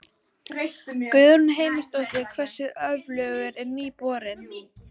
Guðrún Heimisdóttir: Hversu öflugur er nýi borinn?